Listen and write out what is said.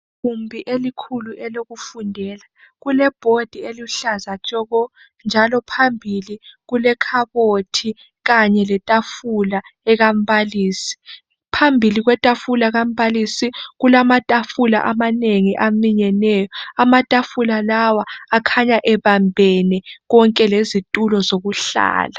Igumbi elikhulu elokufundela kule "board" eluhlaza tshoko njalo phambili kule khabothi kanye letafula ekambalisi, phambili kwetafula kambalisi kulamatafula amanengi aminyeneyo amatafula lawa akhanya ebambene konke lezitulo zokuhlala.